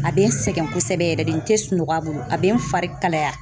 A bɛ n sɛgɛn kosɛbɛ yɛrɛ de, n tɛ sunɔgɔ a bolo, a bɛ n fari kalaya.